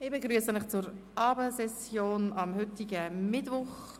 Ich begrüsse Sie zur Abendsession vom heutigen Mittwoch.